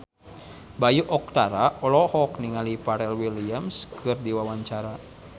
Bayu Octara olohok ningali Pharrell Williams keur diwawancara